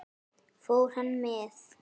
Fór hann með?